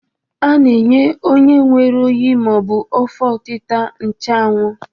A na-enye onye nwere oyi ma ọ bụ afọ ọtịta nchụawụ.